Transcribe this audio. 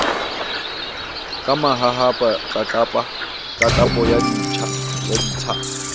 ka mahahapa tlatlapo ya ditsha